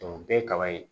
o bɛɛ ye kaba ye